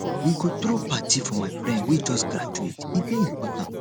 we go throw party for my friend wey just graduate e dey important